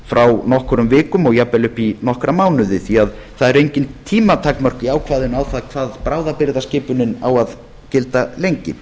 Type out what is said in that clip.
frá nokkrum vikum og jafnvel upp í nokkra mánuði því að það eru engin tímatakmörk í ákvæðinu á það hvað bráðabirgðaskipunin á að gilda lengi